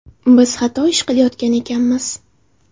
Biz xato ish qilayotgan ekanmiz.